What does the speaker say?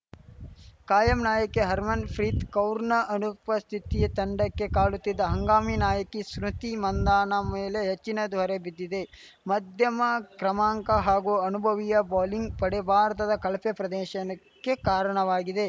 ಕಾಯಂ ನಾಯಕಿ ಹರ್ಮನ್‌ಫ್ರಿತ್‌ ಕೌರ್‌ ಅನುಪಸ್ಥಿತಿ ತಂಡಕ್ಕೆ ಕಾಡುತ್ತಿದ್ದು ಹಂಗಾಮಿ ನಾಯಕಿ ಸ್ಮೃತಿ ಮಂಧನಾ ಮೇಲೆ ಹೆಚ್ಚಿನ ದೊರೆ ಬಿದ್ದಿದೆ ಮಧ್ಯಮ ಕ್ರಮಾಂಕ ಹಾಗೂ ಅನುಭವಿಯ ಬೌಲಿಂಗ್‌ ಪಡೆ ಭಾರತದ ಕಳಪೆ ಪ್ರದೇಶನಕ್ಕೆ ಕಾರಣವಾಗಿದೆ